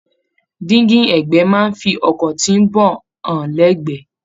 Dingi ẹgbẹ máa n fí ọkọ tí n bọ hàn lẹgbẹ.